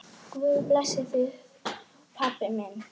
Guð blessi þig, pabbi minn.